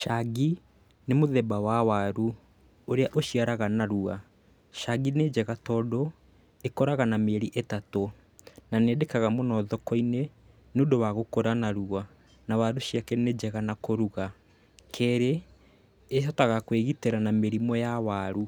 Cangi, nĩ mũthemba wa waru, ũrĩa ũciaraga narua. Cangi nĩ njega tondũ, ĩkũraga na mĩeri ĩtatũ, na nĩyendekaga mũno thoko-inĩ, nĩũndũ wa gũkũra narua, na waru ciake nĩnjega na kũruga. Kerĩ, ĩhotaga kwĩgitĩra na mĩrimũ ya waru.